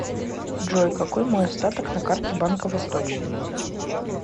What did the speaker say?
джой какой мой остаток на карте банка восточный